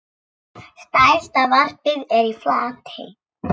Stærsta varpið er í Flatey.